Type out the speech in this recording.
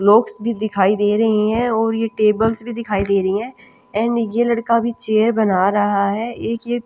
blocks भी दिखाई दे रहे हैं और ये टेबल्स भी दिखाई दे रही है एंड ये लड़का भी चेयर बना रहा है एक ये--